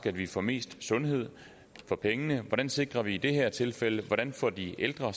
at vi får mest sundhed for pengene hvordan sikrer vi det i det her tilfælde hvordan får de ældre